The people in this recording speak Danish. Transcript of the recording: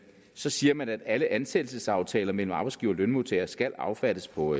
så siger man at alle ansættelsesaftaler mellem arbejdsgiver og lønmodtager skal affattes på